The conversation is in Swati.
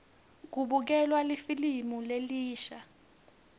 kubukelwa lifilimu lelisha